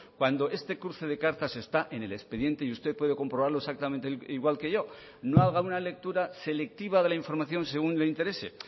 cuando este cruce de cartas está en el expediente y usted puede comprobarlo exactamente igual que yo no haga una lectura selectiva de la información según le interese